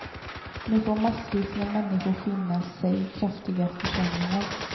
Nu får massvis med människor finna sig i kraftiga försämringar.